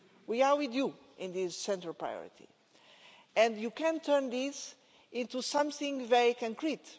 We are with you in this central priority and you can turn this into something very concrete.